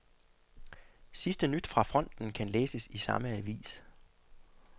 Sidste nyt fra fronten kan læses i samme avis.